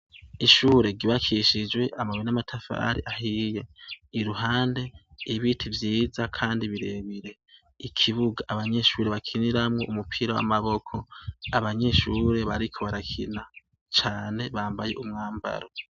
Ishure ryubakishijwe amabuye n'amatafari ahiye iruhande ibiti vyiza kandi birebire ikibuga abanyeshuri bakiniramwo umupira w'amaboko abanyeshure bariko barakina cane bambaye umwambaro